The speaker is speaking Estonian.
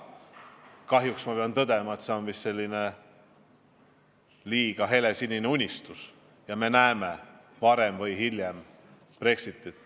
Kahjuks pean tõdema, et see on vist liiga helesinine unistus ja me näeme varem või hiljem Brexitit.